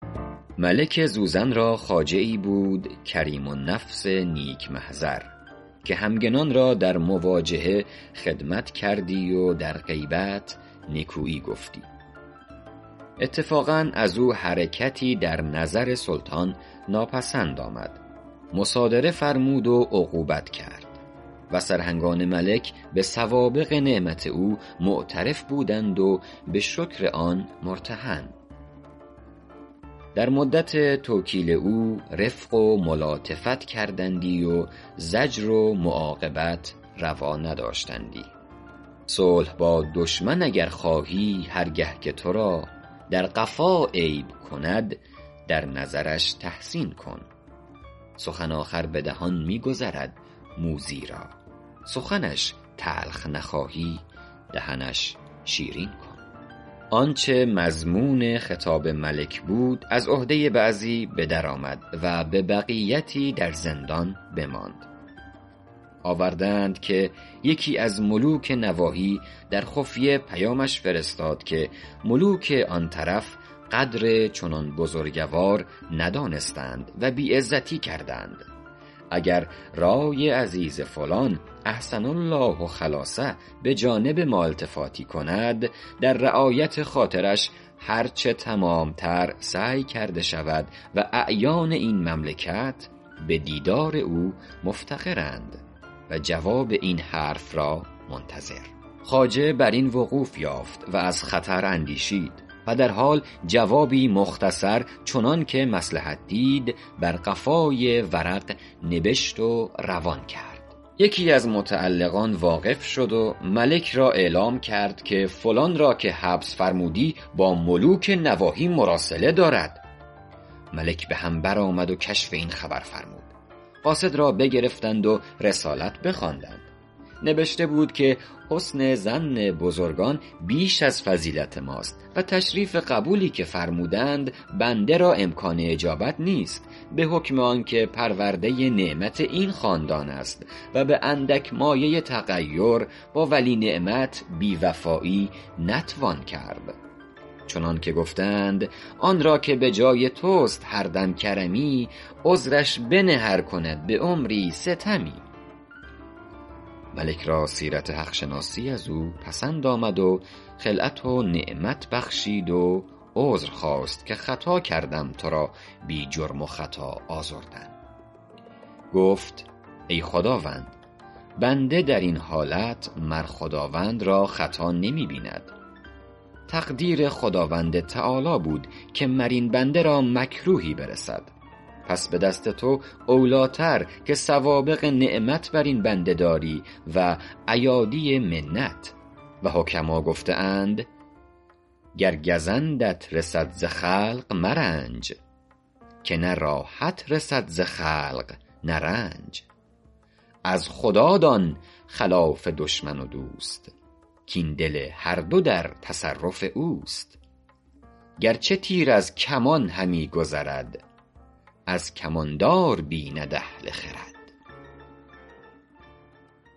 ملک زوزن را خواجه ای بود کریم النفس نیک محضر که همگنان را در مواجهه خدمت کردی و در غیبت نکویی گفتی اتفاقا از او حرکتی در نظر سلطان ناپسند آمد مصادره فرمود و عقوبت کرد و سرهنگان ملک به سوابق نعمت او معترف بودند و به شکر آن مرتهن در مدت توکیل او رفق و ملاطفت کردندی و زجر و معاقبت روا نداشتندی صلح با دشمن اگر خواهی هر گه که تو را در قفا عیب کند در نظرش تحسین کن سخن آخر به دهان می گذرد موذی را سخنش تلخ نخواهی دهنش شیرین کن آنچه مضمون خطاب ملک بود از عهده بعضی به در آمد و به بقیتی در زندان بماند آورده اند که یکی از ملوک نواحی در خفیه پیامش فرستاد که ملوک آن طرف قدر چنان بزرگوار ندانستند و بی عزتی کردند اگر رای عزیز فلان احسن الله خلاصه به جانب ما التفاتی کند در رعایت خاطرش هر چه تمام تر سعی کرده شود و اعیان این مملکت به دیدار او مفتقرند و جواب این حرف را منتظر خواجه بر این وقوف یافت و از خطر اندیشید و در حال جوابی مختصر چنان که مصلحت دید بر قفای ورق نبشت و روان کرد یکی از متعلقان واقف شد و ملک را اعلام کرد که فلان را که حبس فرمودی با ملوک نواحی مراسله دارد ملک به هم برآمد و کشف این خبر فرمود قاصد را بگرفتند و رسالت بخواندند نبشته بود که حسن ظن بزرگان بیش از فضیلت ماست و تشریف قبولی که فرمودند بنده را امکان اجابت نیست به حکم آن که پرورده نعمت این خاندان است و به اندک مایه تغیر با ولی نعمت بی وفایی نتوان کرد چنان که گفته اند آن را که به جای توست هر دم کرمی عذرش بنه ار کند به عمری ستمی ملک را سیرت حق شناسی از او پسند آمد و خلعت و نعمت بخشید و عذر خواست که خطا کردم تو را بی جرم و خطا آزردن گفت ای خداوند بنده در این حالت مر خداوند را خطا نمی بیند تقدیر خداوند تعالیٰ بود که مر این بنده را مکروهی برسد پس به دست تو اولی ٰتر که سوابق نعمت بر این بنده داری و ایادی منت و حکما گفته اند گر گزندت رسد ز خلق مرنج که نه راحت رسد ز خلق نه رنج از خدا دان خلاف دشمن و دوست کاین دل هر دو در تصرف اوست گرچه تیر از کمان همی گذرد از کمان دار بیند اهل خرد